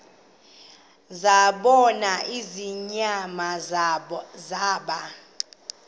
zabona ingonyama zaba